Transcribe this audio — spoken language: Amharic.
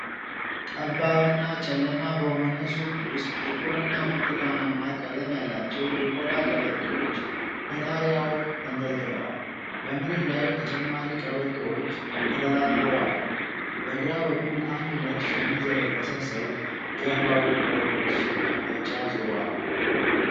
ጠባብና ጨለማ በሆነ ሱቅ ውስጥ ጥቁርና ብርቱካናማ ቀለም ያላቸው የቆዳ ቀበቶዎች ከጣሪያው ተንጠልጥለዋል። በመሬት ላይ ተጨማሪ ቀበቶዎች ተደራርበዋል። በግራ በኩል አንድ ነጭ ሸሚዝ የለበሰ ሰው ጀርባው ወደ ምስሉ አቅጣጫ ዞሯል።